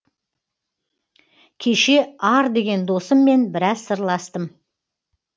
кеше ар деген досыммен біраз сырластым